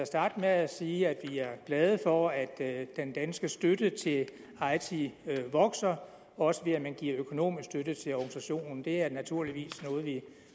starte med at sige at vi er glade for at den danske støtte til eiti vokser også ved at man giver økonomisk støtte til organisationen det er naturligvis noget vi